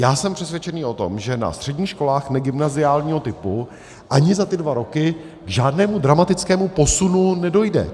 Já jsem přesvědčený o tom, že na středních školách negymnaziálního typu ani za ty dva roky k žádnému dramatickému posunu nedojde.